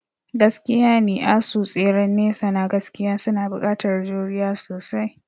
Gaskiyane, asu tseren nesa na gaskiya suna buƙatar juriya sosai.